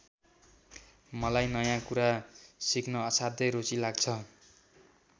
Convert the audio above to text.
मलाई नयाँ कुरा सिक्न असाध्यै रुचि लाग्छ।